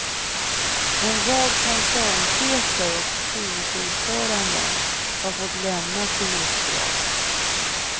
En rad koncernchefer och styrelseordföranden har fått lämna sina uppdrag.